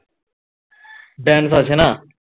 জ্ঞানভাসে না